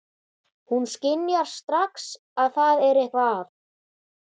Hún skynjar strax að það er eitthvað að.